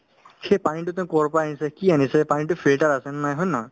সেই পানীতোনো ক'ৰ পৰা আনিছে কি আনিছে পানীতো filter আছে নে নাই হয় নে নহয়